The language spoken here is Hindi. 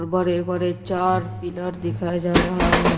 बड़े बड़े चार पिलर दिखाया जा रहा है।